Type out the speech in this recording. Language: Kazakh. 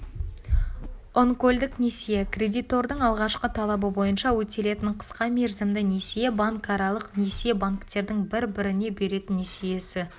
онкольдық несие кредитордың алғашқы талабы бойынша өтелетін қысқа мерзімді несие банкаралық несие банктердің бір-біріне беретін несиесі